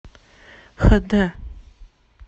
хд